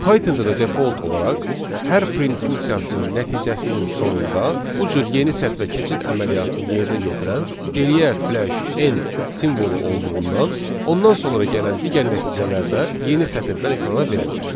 Pythonda da default olaraq hər print funksiyasının nəticəsinin sonunda bu cür yeni sətrə keçid əməliyyatını yerinə yetirən geriyə flash n simvolu olduğundan ondan sonra gələn digər nəticələrdə yeni sətirdən ekrana verilir.